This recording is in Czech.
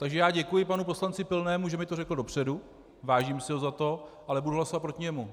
Takže já děkuji panu poslanci Pilnému, že mi to řekl dopředu, vážím si ho za to, ale budu hlasovat proti němu.